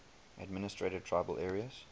administered tribal areas